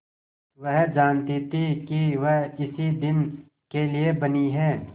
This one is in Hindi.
वह जानती थी कि वह इसी दिन के लिए बनी है